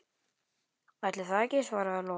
Ætli það ekki, svaraði Lóa.